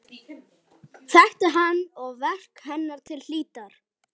Þekkti hana og verk hennar til hlítar.